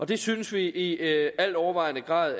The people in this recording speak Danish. det synes vi i altovervejende grad